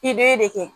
I bɛ de kɛ